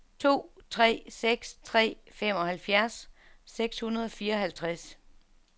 to tre seks tre femoghalvfjerds seks hundrede og fireoghalvtreds